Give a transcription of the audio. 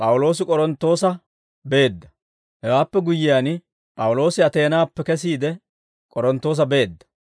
Hewaappe guyyiyaan, P'awuloosi Ateenaappe kesiide, K'oronttoosa beedda.